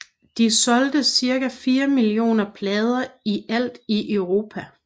De solgte cirka 4 millioner plader i alt i Europa